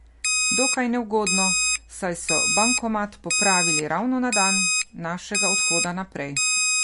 Dokaj neugodno, saj so bankomat popravili ravno na dan našega odhoda naprej.